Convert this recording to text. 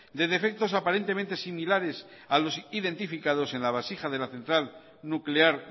de defectos aparentemente similares a los identificados en la vasija de la central nuclear